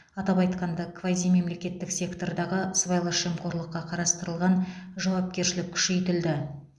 атап айтқанда квазимемлекеттік сектордағы сыбайлас жемқорлыққа қарастырылған жауапкершілік күшейтілді